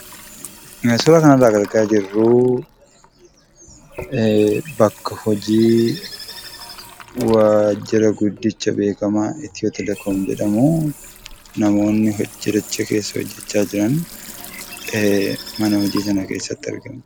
Suuraa kanarraa kan argaa jirruu, bakka hojii, waajira guddicha beekkamaa itiyootelekoom jedhamuu, namoonni waajiricha keesaa hojjachaa jiran mana hojii sana keessatti argamu.